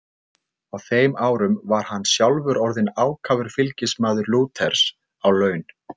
Á þeim árum var hann sjálfur orðinn ákafur fylgismaður Lúters á laun.